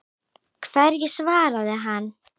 Hverju svaraði hann?